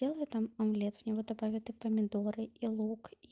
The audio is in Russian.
делай там омлет в него добавят и помидоры и лук и